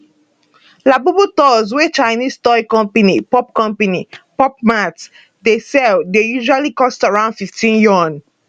labubu dolls wey chinese toy company pop company pop mart dye sell dey usually cost around 50 yuan